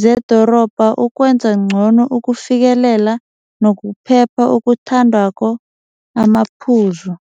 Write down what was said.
zedorobha ukwenza ngcono ukufikelela nokuphepha okuthandwako amaphuzu.